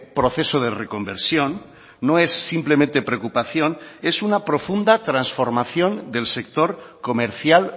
proceso de reconversión no es simplemente preocupación es una profunda transformación del sector comercial